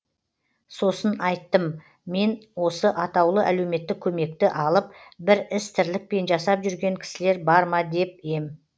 сосын айттым мен осы атаулы әлеуметтік көмекті алып бір іс тірлікпен жасап жүрген кісілер бар ма деп ем